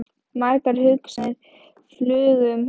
Margar hugsanir flugu um höfuð mér.